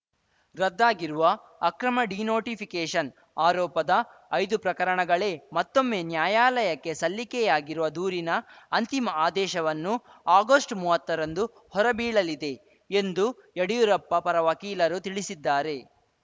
ರದ್ದಾಗಿರುವ ಅಕ್ರಮ ಡಿನೋಟಿಫಿಕೇಷನ್‌ ಆರೋಪದ ಐದು ಪ್ರಕರಣಗಳೇ ಮತ್ತೊಮ್ಮೆ ನ್ಯಾಯಾಲಯಕ್ಕೆ ಸಲ್ಲಿಕೆಯಾಗಿರುವ ದೂರಿನ ಅಂತಿಮ ಆದೇಶವನ್ನು ಆಗೋಸ್ಟ್ಮುವತ್ತರಂದು ಹೊರಬೀಳಲಿದೆ ಎಂದು ಯಡಿಯೂರಪ್ಪ ಪರ ವಕೀಲರು ತಿಳಿಸಿದ್ದಾರೆ